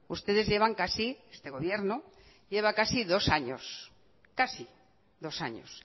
ustedes llevan casi este gobierno lleva casi dos años casi dos años